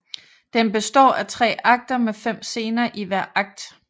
Den består af tre akter med fem scener i hver akt